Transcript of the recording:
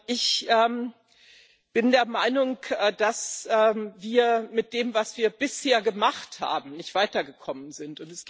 Ich bin der Meinung, dass wir mit dem, was wir bisher gemacht haben, nicht weitergekommen sind.